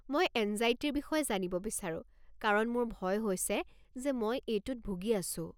মই এঙ্জাইটিৰ বিষয়ে জানিব বিচাৰো কাৰণ মোৰ ভয় হৈছে যে মই এইটোত ভুগি আছো।